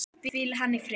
Hvíli hann í friði.